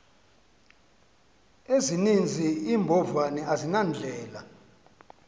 ezininzi iimbovane azinandlela